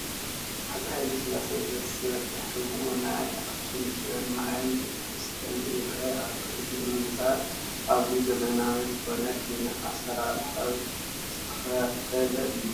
ሃፀይ ሃይለስላሴ ዘስርሕዎ ናይ ኣኽሱም ፅዮን ማርያም ቤተ ክርስቲያን ይርአ ኣሎ፡፡ እዚ ህንፃ ኣዝዩ ዘመናዊ ዝኾነ ኪነ ኣሰራርሓ ዝተኸተለ እዩ፡፡